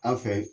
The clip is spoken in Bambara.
An fɛ